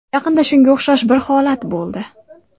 Yaqinda shunga o‘xshash bir holat bo‘ldi.